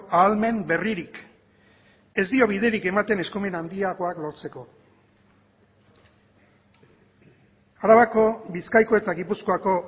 ahalmen berririk ez dio biderik ematen eskumen handiagoak lortzeko arabako bizkaiko eta gipuzkoako